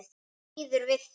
Býður við þér.